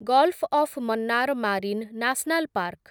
golf of Mannar marine national park